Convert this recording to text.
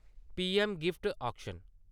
P M gift auction